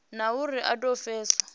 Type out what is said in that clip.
na uri i do pfiswa